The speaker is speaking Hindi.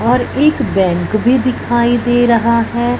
और एक बैंक भी दिखाई दे रहा है।